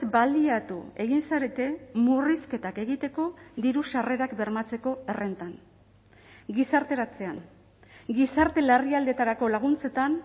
baliatu egin zarete murrizketak egiteko diru sarrerak bermatzeko errentan gizarteratzean gizarte larrialdietarako laguntzetan